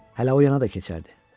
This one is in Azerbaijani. Hələ o yana da keçərdi.